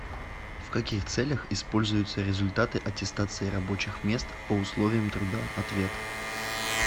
в каких целях используются результаты аттестации рабочих мест по условиям труда ответ